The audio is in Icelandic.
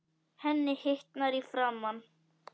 Henni hitnar í framan.